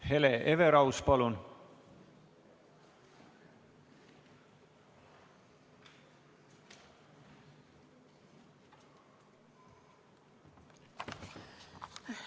Hele Everaus, palun!